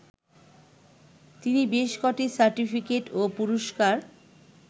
তিনি বেশ ক’টি সার্টিফিকেট ও পুরস্কার